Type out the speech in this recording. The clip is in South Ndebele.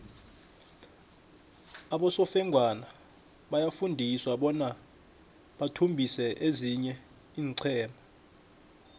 abosofengwana bayafunjathiswa bona bathumbise ezinye iinqhema